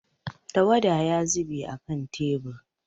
Tawada ya zube a kan tebur.